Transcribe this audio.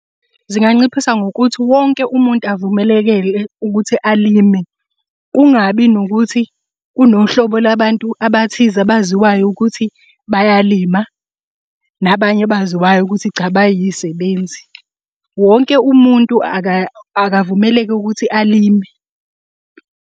Zinganciphisa ngokuthi wonke umuntu avumelekele ukuthi alime. Kungabi nokuthi kunohlobo labantu abathize abaziwayo ukuthi bayalima, nabanye abaziwayo ukuthi cha bayisebenzi. Wonke umuntu akavumeleke ukuthi alime.